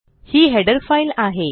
ही header file आहे